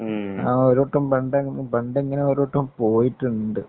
മ്. ഒരു വട്ടം പണ്ടെങ്ങനോ ഒരു വട്ടം പോയിട്ടുണ്ട്.